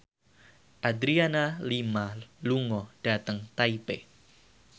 Adriana Lima lunga dhateng Taipei